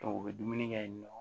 u bɛ dumuni kɛ yen nɔ